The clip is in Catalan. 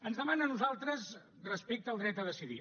ens demana a nosaltres respecte al dret a decidir